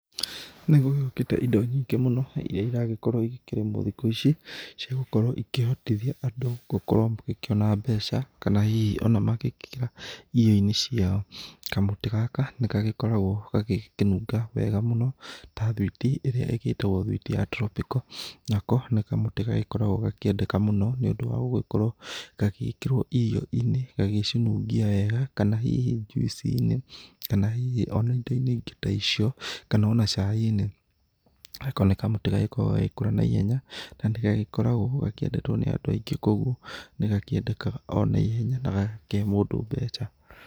Nĩgũgĩũkĩte ĩndo nyingĩ mũno ĩria ĩragĩkorwo ĩgĩkĩrĩmwo thikũ ici ciagũkorwo ĩkĩhotithia andũ gũkorwo magĩkĩona mbeca kana hihi ona magĩkĩra irio inĩ ciao. Kamũtĩ gaka nĩgagĩkoragwo gagĩkĩnunga wega mũno ta thwiti ĩrĩa ĩgĩtagwo thwiti ya tropical. Nako nĩ kamũtĩ gagĩkoragwo gakĩendeka mũno nĩ ũndũ wa gũgĩkorwo gagĩgĩkĩrwo irio-inĩ gagĩcinungia wega, kana hihi juici-inĩ kana hihi ona ĩndo inĩ ĩngĩ ta icio kana ona cai-inĩ. Nako nĩ kamũtĩ gagĩkoragwo gagĩkũra naihenya na nĩ gagĩkoragwo gakĩendetwo nĩ andũ aingĩ koguo nĩ gakĩendekaga onaĩhenya na gagakĩhe mũndũ mbeca.